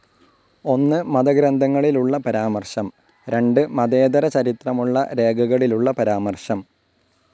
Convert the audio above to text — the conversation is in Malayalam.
ഒന്ന് മത ഗ്രന്ഥങ്ങളിലുള്ള പരാമർശം, രണ്ട് മതേതരചരിത്രമുള്ള രേഖകളിലുള്ള പരാമർശം.